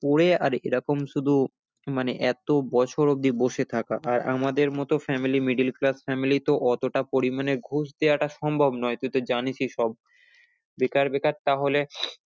পড়ে আর এরকম শুধু মানে এতো বছর অবধি বসে থাকা আর আমাদের মতো family middle class family তো অতটা পরিমানে ঘুষ দেওয়াটা সম্ভব নয়, তুই তো জানিসই সব বেকার বেকার তাহলে